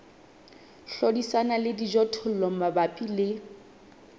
hlodisana le dijothollo mabapi le